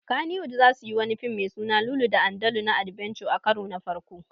Kannywood zasuyi wani fim me suna Lulu da Andalu na adbenture a karo na farko